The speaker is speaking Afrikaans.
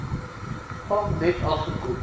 gang net afgekom